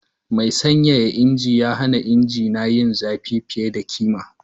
Mai sanyaya injin ya hana injina yin zafi fiye da kima.